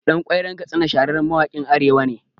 Ɗan Ƙwairon Katsina shahararren mawaƙin Arewa ne